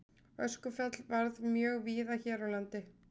Öskufall varð mjög víða hér á landi.